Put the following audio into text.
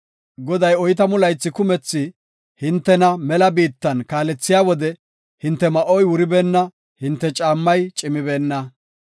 Goday oytamu laythi kumethi hintena mela biittan kaalethiya wode hinte ma7oy wuribeenna, hinte caammay cimibeenna.